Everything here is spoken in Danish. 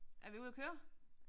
Er vi ude og køre?